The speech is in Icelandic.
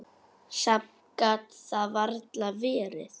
Samt gat það varla verið.